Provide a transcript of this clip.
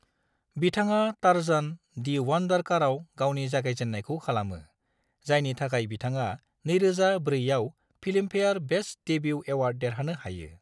बिथाङा Tarzan: the wonder कारआव गावनि जागायजेननायखौ खालामो, जायनि थाखाय बिथाङा 2004 आव फिल्मफेयार बेस्ट डेब्यू एवार्ड देरहानो हायो।